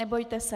Nebojte se.